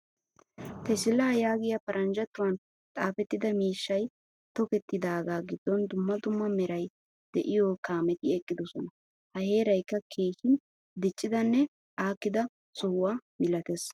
Tesila yaagiyaa paranjjatuwan xaafettida miishshay tokketidaga giddon dumma dumma meray de'iyo kaametti eqqidosona. Ha heeraykka keehin diccidanne aakkida sohuwaa milatees.